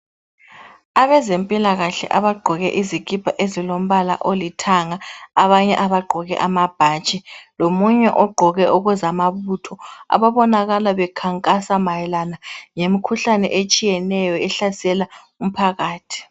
Abezempilakahle abagqoke izikipa ezilombala olithanga abanye abagqoke amabhatshi lomunye ogqoke ezamabutho ababonakala bekhankasa mayelana ngemikhuhlane etshiyeneyo ehlasela umphakathi.